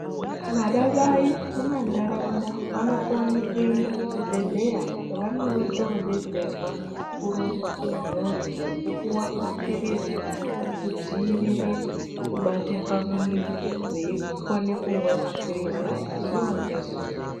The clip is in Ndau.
Vana mai vemuntaraunda vanokone kuenda kuchibhehleya kwavanondodetserwa kurongwa kwemhuri nekupuwa mapilizi ekudzivirire kubate pamuviri veikone kumwa mapilizi aya zuwa ngezuwa.